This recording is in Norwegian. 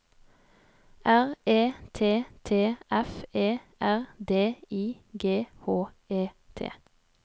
R E T T F E R D I G H E T